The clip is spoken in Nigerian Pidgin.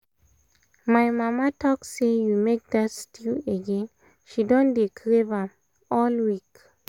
my mama talk say you make that stew again — she don dey crave am all week